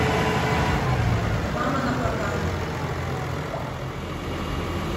мама на прокат